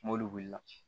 N'olu wulila